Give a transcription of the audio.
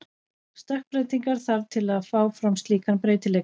Stökkbreytingar þarf til að fá fram slíkan breytileika.